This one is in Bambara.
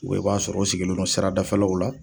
i b'a sɔrɔ o sigilen don sira dafɛlaw la